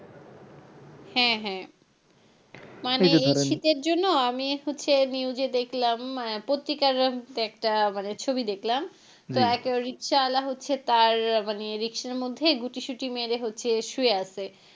হ্যাঁ হ্যাঁ মানে এই শীতের জন্য আমি হচ্ছে news এ দেখলাম পত্রিকার হম তে একটা মানে ছবি দেখালাম তো একটা রিক্সাওয়ালা হচ্ছে তার মানে রিক্সার মধ্যে গুটি শুটি মেরে হচ্ছে শুয়ে আছে,